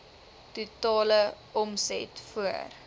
totale omset voor